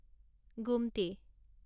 গোমটি